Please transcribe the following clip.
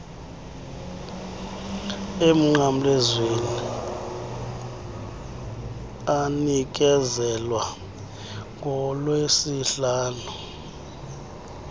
emnqamlezweni anikezelwa ngolwesihlanu